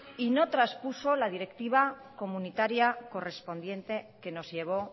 y no traspuso la directiva comunitaria correspondiente que nos llevó